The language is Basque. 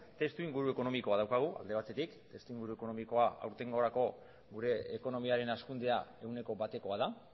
testuinguru ekonomikoa daukagu alde batetik testuinguru ekonomikoa aurtengorako gure ekonomiaren hazkundea ehuneko batekoa da